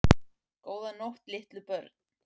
Góða nótt litlu börn.